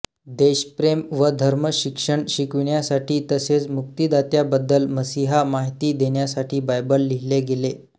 देशप्रेम व धर्मशिक्षण शिकविण्यासाठी तसेच मुक्तिदात्याबद्दल मसीहा माहिती देण्यासाठी बायबल लिहिले गेले